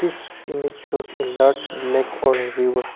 this image shows a large lake or a river.